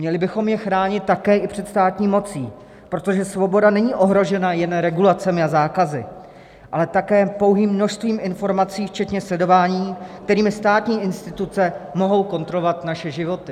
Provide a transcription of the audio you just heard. Měli bychom je chránit také i před státní mocí, protože svoboda není ohrožena jen regulacemi a zákazy, ale také pouhým množstvím informací včetně sledování, kterými státní instituce mohou kontrolovat naše životy.